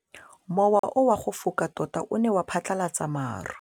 Mowa o wa go foka tota o ne wa phatlalatsa maru.